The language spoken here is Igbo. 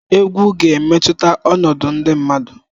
Egwu ga-emetụta ọnọdụ ndị mmadụ.